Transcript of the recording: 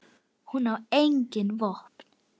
En hún á engin vopn.